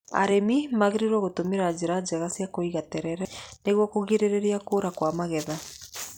Arĩmi magiriirwo gũtũmĩra njĩra njega cia kũiga terere nĩguo kũgirĩrĩa kũũra kwa magetha.